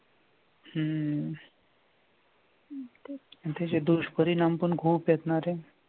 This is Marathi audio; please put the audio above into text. हम्म इथे जे दुष्परिणाम पण खूप आहेत ना रे!